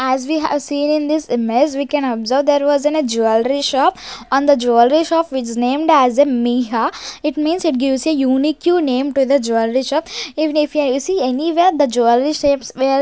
As we have seen in this image we can observe there was in an a jewellery shop on the jewellery shop is named as a Miha it means it gives a unique name to the jewellery shop even if you see anywhere the jewellery shapes were--